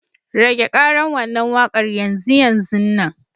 Rage ƙaran wannan waƙar yanzu yanzunnan.